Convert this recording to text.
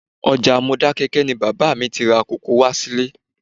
Ọjà Modákẹ́kẹ́ ni bàbá mi ti ra kòkó wá sílé